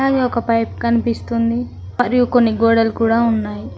ఒక పైప్ కనిపిస్తుంది మరియు కొన్ని గోడలు కూడా ఉన్నాయి.